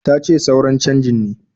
Tace suran canji ne.